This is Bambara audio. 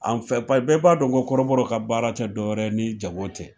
An bɛɛ b'a dɔn ko kɔrɔbɔrɔw ka baara tɛ dɔwɛrɛ ye ni jagow tɛ.